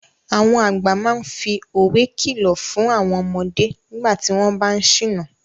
Àwọn àgbà máa ń fi òwe kìlọ̀ fún àwọn ọmọdé nígbà tí wọ́n bá ń ṣìnà.